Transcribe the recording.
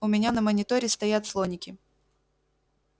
у меня на мониторе стоят слоники